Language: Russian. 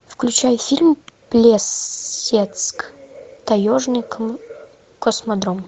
включай фильм плесецк таежный космодром